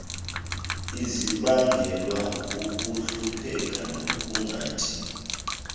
zibangelwa kukuhlupheka nokungatyi